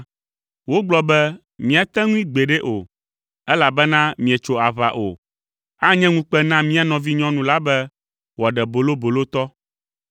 Wogblɔ be, “Míate ŋui gbeɖe o, elabena mietso aʋa o. Anye ŋukpe na mía nɔvinyɔnu la be wòaɖe bolobolotɔ.